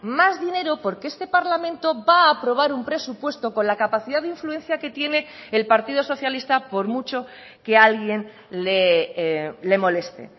más dinero porque este parlamento va a aprobar un presupuesto con la capacidad de influencia que tiene el partido socialista por mucho que alguien le moleste